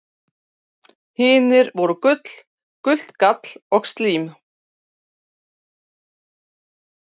Hinir voru blóð, gult gall og slím.